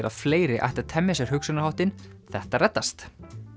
að fleiri ættu að temja sér hugsunarháttinn þetta reddast